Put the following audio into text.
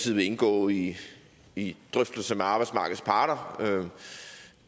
vil indgå i i drøftelser med arbejdsmarkedets parter